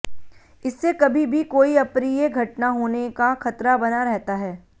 इससे कभी भी कोई अप्रिय घटना होने का खतरा बना रहता है